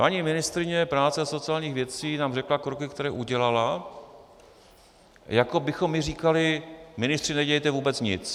Paní ministryně práce a sociálních věcí nám řekla kroky, které udělala, jako bychom my říkali: ministři, nedělejte vůbec nic.